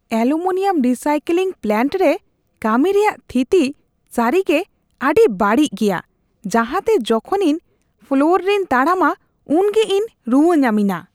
Aluminium recycling plant ᱨᱮ ᱠᱟᱹᱢᱤ ᱨᱮᱭᱟᱜ ᱛᱷᱤᱛᱤ ᱥᱟᱹᱨᱤᱨᱟᱜ ᱨᱮᱹᱰᱤ ᱵᱟᱹᱲᱤᱡ ᱜᱮᱭᱟ, ᱡᱟᱦᱟᱸᱛᱮ ᱡᱚᱠᱷᱚᱱ ᱤᱧ ᱯᱷᱞᱚᱨ ᱨᱮᱧ ᱛᱟᱲᱟᱢᱟ ᱩᱵᱜᱮ ᱤᱧ ᱨᱩᱣᱟᱹ ᱧᱟᱢᱮᱧᱟ ᱾